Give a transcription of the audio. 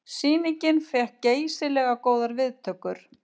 Sýningin fékk geysilega góðar viðtökur